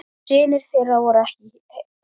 Synir þeirra voru ekki heima.